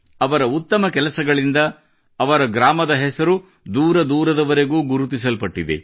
ಅವರ ಉತ್ತಮ ಕೆಲಸಗಳಿಂದ ಅವರ ಗ್ರಾಮದ ಹೆಸರು ದೂರದೂರದವರೆಗೂ ಗುರುತಿಸಲ್ಪಟ್ಟಿದೆ